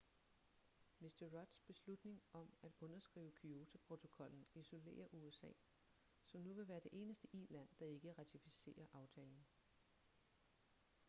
mr rudds beslutning om at underskrive kyoto-protokollen isolerer usa som nu vil være det eneste i-land der ikke ratificerer aftalen